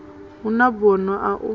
hu na bono a u